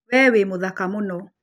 We wĩ mũthaka mũno